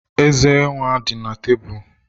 The ezé dị na tebụl.